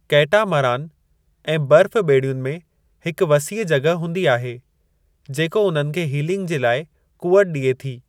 Catamaran ऐं बर्फ़-बे॒ड़ियुनि में हिकु वसीअ जगि॒ह हूंदी आहे जेको उन्हनि खे हीलिंग जे लाइ क़ुवत डि॒ए थी।